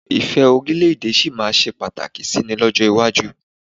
Ìfẹ́ orílẹ̀ èdè ẹni sì máa ṣe pàtàkì síi ní ọjọ́ iwájú.